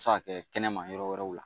se ka kɛ kɛnɛma yɔrɔ wɛrɛw la